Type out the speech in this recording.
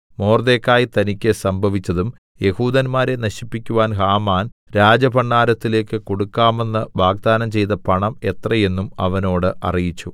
മൊർദെഖായി തനിക്ക് സംഭവിച്ചതും യെഹൂദന്മാരെ നശിപ്പിക്കുവാൻ ഹാമാൻ രാജഭണ്ഡാരത്തിലേക്ക് കൊടുക്കാമെന്ന് വാഗ്ദാനം ചെയ്ത പണം എത്ര എന്നും അവനോട് അറിയിച്ചു